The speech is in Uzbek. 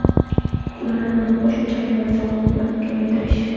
Ulardan biri qo‘shimcha qiymat solig‘ini kamaytirish.